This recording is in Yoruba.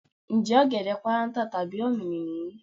Ǹjẹ́ ọ̀gẹ̀dẹ̀ páráǹtà tàbí ọ̀mìnì nìyí?